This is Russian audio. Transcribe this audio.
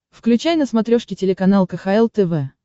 включай на смотрешке телеканал кхл тв